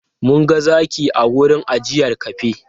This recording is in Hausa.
Mun ga zaki a wurin ajiyar kafe.